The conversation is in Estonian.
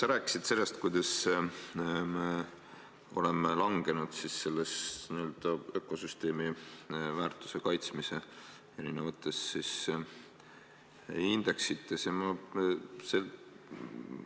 Sa rääkisid sellest, kuidas me oleme n-ö ökosüsteemi väärtuse kaitsmise eri indeksites langenud.